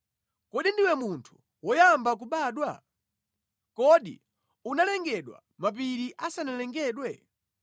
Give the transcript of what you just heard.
“Kodi ndiwe munthu woyamba kubadwa? Kodi unalengedwa mapiri asanalengedwe?